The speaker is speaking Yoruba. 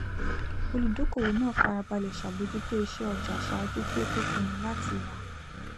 olùdókòwò náà farabalẹ ṣàbójútó ìṣe ọjà ṣáájú kí ó tó pinnu láti rà á